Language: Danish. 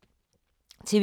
TV 2